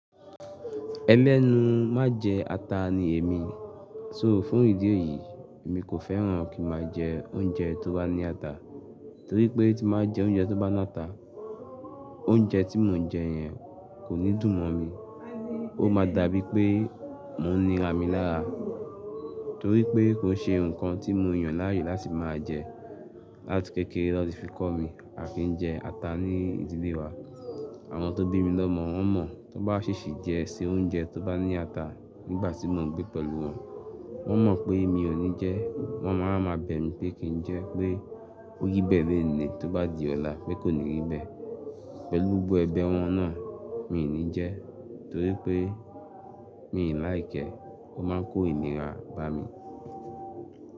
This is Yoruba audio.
Ẹlẹ́nu má jẹ ata ni èmi. So fún ìdí èyí, èmi kò fẹ́ràn kí n máa jẹ oúnjẹ tó bá ní ata, torí pé tí máa jẹ oúnjẹ tó bá ná ata, oúnjẹ tí mò ń jẹ yẹn kò ní dùn mọ́ mi. Ó máa dàbí pé mò ń nira mi lára, torí pé kò ṣe nǹkan tí mo yàn láàyè láti máa jẹ. Láti kékeré láti fi kọ́ mi a ki ń jẹ ata ní ìdílé wa. Àwọn tó bí mi lọ́mọ wọ́n mọ̀, tí wọ́n bá ṣìṣè jẹ se oúnjẹ tó bá ní ata nígbà tí mò ń gbé pẹ̀lú wọn, wọ́n mọ̀ pé mi ò ní jẹ, wọ́n máa ń máa bẹ̀ mí pé kí n jẹ, pé ó yí bẹ̀ẹ́ lénìí, tó bá di ọ̀la pé kò ní rí bẹ̀. Pẹ̀lú gbó ẹbe wọn náà, mi ò ní jẹ, torí pé mi ò láìkẹ́, ó máa ń kó ìnira bá mi.